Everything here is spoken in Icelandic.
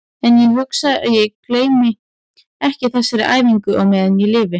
En ég hugsa að ég gleymi ekki þessari æfingu á meðan ég lifi.